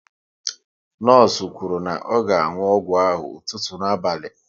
Nọọsụ kwuru na ọ ga anwụ ọgwụ ahụ ụtụtụ na abalị